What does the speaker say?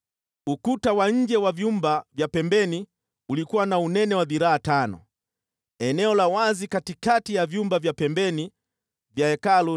Ukuta wa nje wa vyumba vya pembeni ulikuwa na unene wa dhiraa tano. Eneo la wazi katikati ya vyumba vya pembeni vya Hekalu